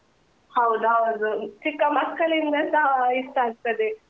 ಹೌದ್ ಹೌದು, ಚಿಕ್ಕ ಮಕ್ಕಳಿಂದಸ ಆ ಇಷ್ಟ ಆಗ್ತದೆ.